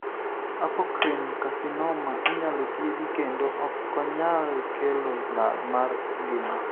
Apocrine carcinoma inyalo thiedhi kendo okonyal kelo lal mar ng'ima.